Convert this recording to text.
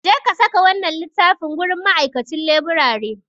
Jeka saka wannan littafin gurin ma'aikacin laburare.